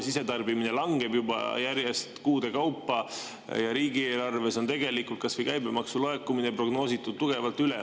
Sisetarbimine järjest langeb, juba kuude kaupa, ja riigieelarves on tegelikult kas või käibemaksu laekumist prognoositud tugevalt üle.